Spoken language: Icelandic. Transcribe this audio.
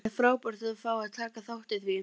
Það er frábært að fá að taka þátt í því.